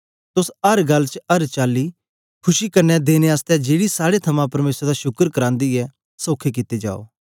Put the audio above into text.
तोस अर गल्ल च अर चाली च खुशी कन्ने देने आसतै जेड़ी साड़े थमां परमेसर दा शुकर करांदी ऐ सोखे कित्ते जाओ